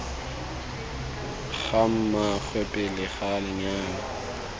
ga mmaagwe pele ga lenyalo